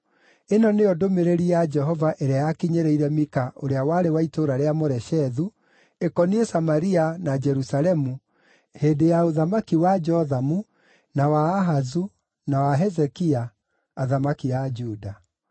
Ĩno nĩyo ndũmĩrĩri ya Jehova ĩrĩa yakinyĩrĩire Mika ũrĩa warĩ wa itũũra rĩa Moreshethu, ĩkoniĩ Samaria na Jerusalemu, hĩndĩ ya ũthamaki wa Jothamu, na wa Ahazu, na wa Hezekia, athamaki a Juda.